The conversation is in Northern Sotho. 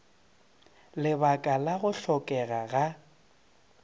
lebaka la go hlokega ga